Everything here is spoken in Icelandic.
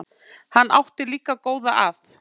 Hann átti líka góða að.